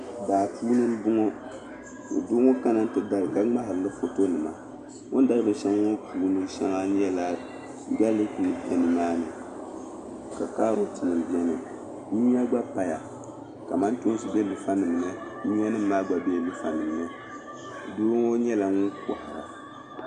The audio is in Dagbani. Daa puuni n bɔŋɔ ka doo ŋɔ kana. tidara ka mŋahirili fɔtɔ nima saa. ɔn dari bɛn shaŋa ŋɔ puuni shaŋa. n nya gaalik nima be nimaani ka kaaroti nima beni maani nyuya gba paya, kamantoonsi be luŋ fa niŋmi , nyuya gba. be lunfanimni dooŋɔ nyala ŋun kohira